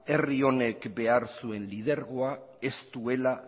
herri honek behar zuen lidergoak ez duela